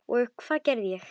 Og hvað gerði ég?